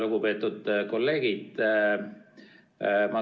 Lugupeetud kolleegid!